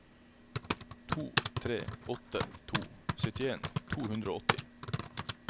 to tre åtte to syttien to hundre og åtti